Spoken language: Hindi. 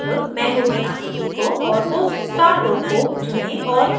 अब mango की आकृति को और उस star row को चुनें और उन्हें डिलीट करें